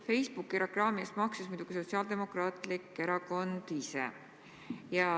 Facebooki reklaami eest maksis muidugi Sotsiaaldemokraatlik Erakond ise.